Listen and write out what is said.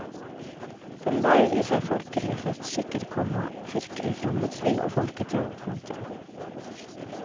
Den bærer i seg folkelige festskikker, komma kirkelig fromhetsliv og folketro. punktum